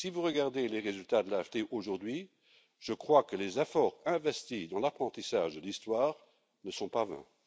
Si vous regardez les résultats de l'AfD aujourd'hui, je crois que les efforts investis dans l'apprentissage de l'histoire ne sont pas vains.